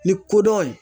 Ni kodɔn ye